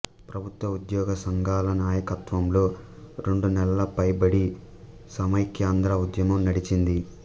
ప్రభుత్వ ఉద్యోగసంఘాల నాయకత్వంలో రెండు నెలలపైబడి సమైక్యాంధ్ర ఉద్యమం నడిచింది